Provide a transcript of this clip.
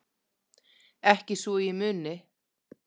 Ekki svo ég muni.